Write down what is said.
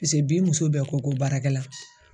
bi muso bɛɛ ko ko baarakɛla.